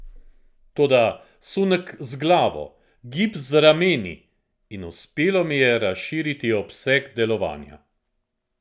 Toda, sunek z glavo, gib z rameni, in uspelo mi je razširiti obseg delovanja.